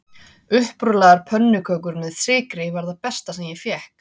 Upprúllaðar pönnukökur með sykri var það besta sem ég fékk